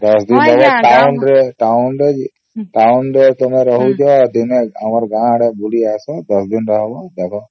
୧୦ ଦିନ ରହିବ town ରେ town ରେ town ରେ ତୁମେ ରହିବ ଆମ ଗାଁ ଆଡେ ବୁଲି ଆସ ୧୦ ଦିନ ରହିବ ଦେବା